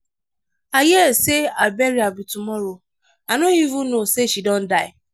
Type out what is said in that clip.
i hear say her burial be tomorrow. i no even know say she don die